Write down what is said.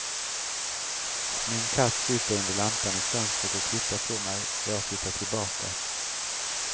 Min katt sitter under lampan i fönstret och tittar på mig, jag tittar tillbaka.